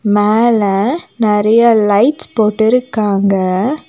மேல நெறைய லைட் போட்டிருக்காங்க.